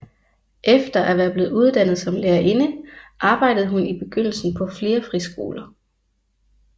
Efter at være blevet uddannet som lærerinde arbejdede hun i begyndelsen på flere friskoler